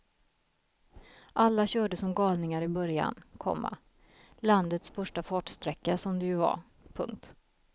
Alla körde som galningar i början, komma landets första fartsträcka som det ju var. punkt